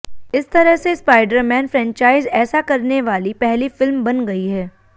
इस तरह ये स्पाइडर मैन फ्रैंचाइज़ ऐसा करने वाली पहली फिल्म बन गई है